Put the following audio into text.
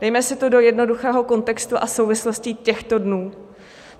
Dejme si to do jednoduchého kontextu a souvislostí těchto dnů.